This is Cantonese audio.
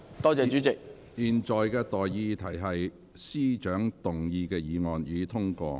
我現在向各位提出的待議議題是：財政司司長動議的議案，予以通過。